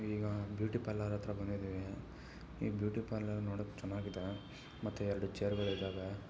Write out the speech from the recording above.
ಈಗ beauty parlour ಹತ್ರ ಬಂದಿದ್ದಿವಿ ಈ ಬ್ಯೂಟಿ ಪಾರ್ಲರ್ ನೋಡಕ್ ಚೆನ್ನಾಗಿದೆ ಮತ್ತೆರಡು ಚೇರ್ಗಳು ಇದವೆ.